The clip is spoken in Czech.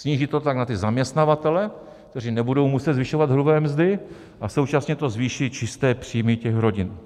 Sníží to tlak na ty zaměstnavatele, kteří nebudou muset zvyšovat hrubé mzdy, a současně to zvýší čisté příjmy těch rodin.